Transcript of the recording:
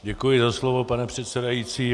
Děkuji za slovo, pane předsedající.